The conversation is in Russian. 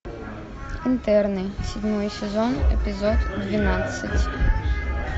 интерны седьмой сезон эпизод двенадцать